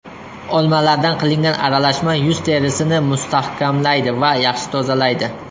Olmalardan qilingan aralashma yuz terisini mustahkamlaydi va yaxshi tozalaydi.